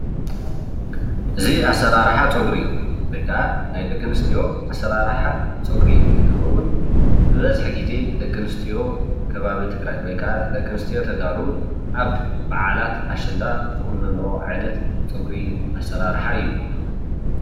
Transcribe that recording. እዚ ኣሰራርሓ ፀጉሪ ወይ ከዓ ናይ ደቂ ኣነስትዮ ኣሰራርሓ ፀጉሪ እንትከውን ብበዝሒ ግዜ ደቂ ኣነስትዮ ከባቢ ትግራይ ወይ ከዓ ደቂ ኣነስትዮ ተጋሩ ኣብ በዓላት ኣሸንዳ ዝቁነነኦ ኣዓይነት ፀጉሪ ኣሰራርሓ እዩ፡፡